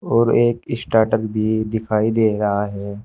और एक स्टाटर भी दिखाई दे रहा है।